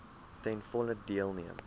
ten volle deelneem